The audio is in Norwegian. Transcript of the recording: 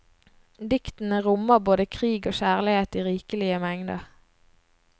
Diktene rommer både krig og kjærlighet i rikelige mengder.